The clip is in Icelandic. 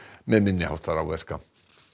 með minni háttar áverka